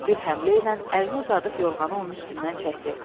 Bir həmlə ilə əlini uzadıb yorğanı onun üstündən çəkdi.